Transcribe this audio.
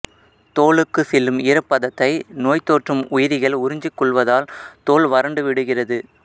தோலுக்கு செல்லும் ஈரப்பதத்தை நோய்த்தொற்றும் உயிரிகள் உறிஞ்சிக்கொள்வதால் தோல் வறண்டுவிடுகிறது